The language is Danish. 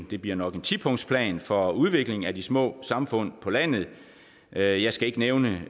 det bliver nok en tipunktsplan for udvikling af de små samfund på landet jeg jeg skal ikke nævne